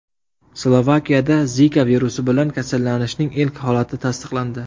Slovakiyada Zika virusi bilan kasallanishning ilk holati tasdiqlandi.